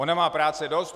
Ona má práce dost.